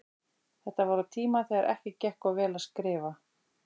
Þetta var á tíma þegar ekki gekk of vel að skrifa.